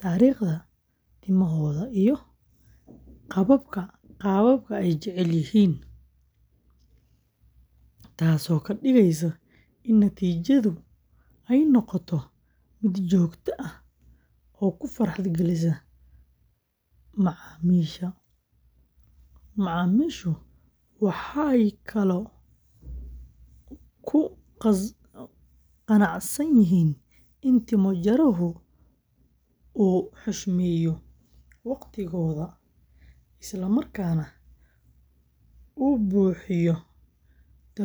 taariikhda timahooda iyo qaababka ay jecel yihiin, taasoo ka dhigaysa in natiijadu noqoto mid joogto ah oo ku farxad gelisa macaamiisha. Macaamiishu waxay kaloo ku qanacsan yihiin in timo-jaruhu uu xushmeeyo waqtigooda, isla markaana uu bixiyo talooyin ku habboon daryeelka timaha.